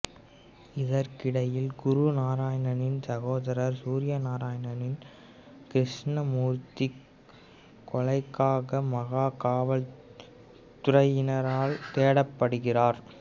இதற்கிடையில் குரு நாராயணனின் சகோதரர் சூர்ய நாராயணனின் கிருஷ்ணமூர்த்தி கொலைக்காக மகா காவல் துறையினரால் தேடப்படுகிறார்